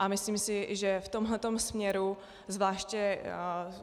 A myslím si, že v tomhletom směru zvláště.